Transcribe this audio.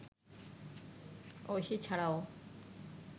ঐশী ছাড়াও